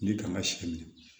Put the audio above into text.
Ni kan ka si minɛ